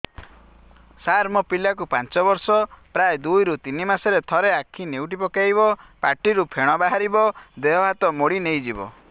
ସାର ମୋ ପିଲା କୁ ପାଞ୍ଚ ବର୍ଷ ପ୍ରାୟ ଦୁଇରୁ ତିନି ମାସ ରେ ଥରେ ଆଖି ନେଉଟି ପକାଇବ ପାଟିରୁ ଫେଣ ବାହାରିବ ଦେହ ହାତ ମୋଡି ନେଇଯିବ